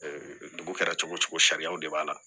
dugu kɛra cogo cogo sariyaw de b'a la